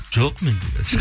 жоқ менде қазір